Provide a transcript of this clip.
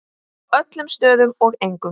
Á öllum stöðum og engum.